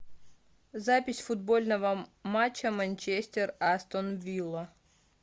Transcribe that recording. запись футбольного матча манчестер астон вилла